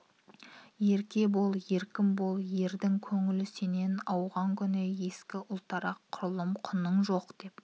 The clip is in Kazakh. ерке бол еркін бол ердің көңілі сенен ауған күні ескі ұлтарақ құрлым құның жоқ деп